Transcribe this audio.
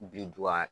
Birinduga